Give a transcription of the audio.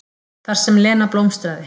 Þar sem Lena blómstraði.